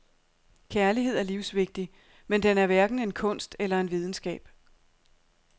Kærlighed er livsvigtig, men den er hverken en kunst eller en videnskab.